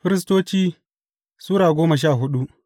Firistoci Sura goma sha hudu